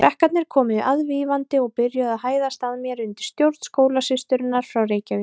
Krakkarnir komu aðvífandi og byrjuðu að hæðast að mér undir stjórn skólasysturinnar frá Reykjavík.